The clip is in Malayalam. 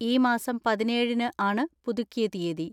ഈ മാസം പതിനേഴിന് ആണ് പുതുക്കിയ തീയ്യതി.